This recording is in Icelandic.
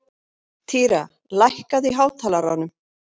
Týra, lækkaðu í hátalaranum.